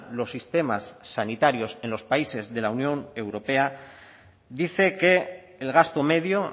los sistemas sanitarios en los países de la unión europea dice que el gasto medio